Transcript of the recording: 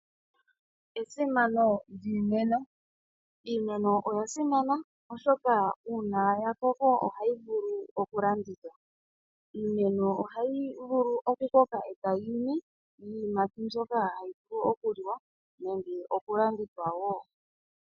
Esimano lyiimeno. Iimeno oya simana, oshoka uuna ya koko ohayi vulu okulandithwa. Iimeno ohayi vulu okukoka e tayi imi iiyimati mbyoka hayi vulu okuliwa nenge okulandithwa wo